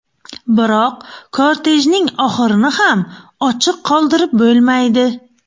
Biroq kortejning oxirini ham ochiq qoldirib bo‘lmaydi.